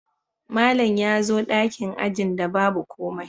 Malam ya zo dakin ajin da babu komai